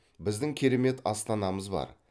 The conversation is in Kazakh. біздің керемет астанамыз бар